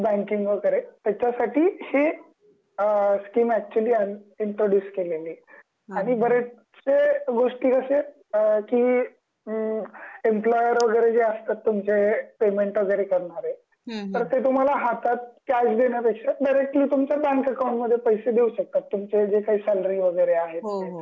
Banking वगैरे त्याचा सठी हे अ स्कीम ऍक्च्युली अ अ इंट्रोड्युस केलेली. आणि बरेचशे गोष्ठी कशे अ कि म एम्प्लॉयर वगैरे जे असतात तुमचे पेमेंट वगैरे करणारे, तर ते तुम्हाला हातात कॅश देण्यापेक्षा डायरेक्टली तुमच्या बँक अकॉउंट मध्ये पैशे देऊ शकतात तुमचे जे काही सॅलरी वगैरे आहे